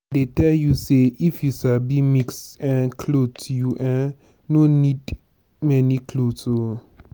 i dey tell you say if you sabi mix um clothes you um no need many clothes oo.